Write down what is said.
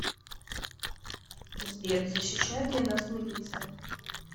сбер защищает ли нас милиция